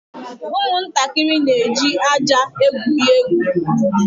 Ụmụntakịrị na-eji ájá egwuri egwu.